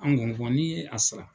An ko n ko n'i ye a sara